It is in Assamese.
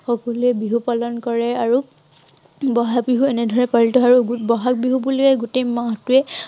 সকলোৱে বিহু পালন কৰে আৰু বহাগ বিহু এনে ধৰনেৰে পালিত হয়। আৰু বহাগ বিহু বুলিয়েই গোটেই মাহটোৱেই